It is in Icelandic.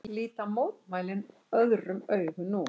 Líta mótmælin öðrum augum nú